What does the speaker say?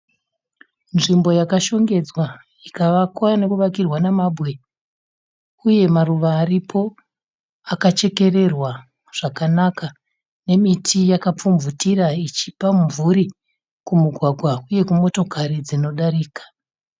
Nzvimbo yakashongedzwa ikavakwa nokuvakirwa namabwe uye maruva aripo akachekererwa zvakanaka nemiti yakapfumvutira ichipa mubvuri kumugwagwa uye kumotokari dzinodarika.